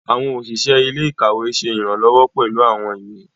Awọn oṣiṣẹ ilé-ìkawe ṣe iranlọwọ pẹlu awọn ìwé.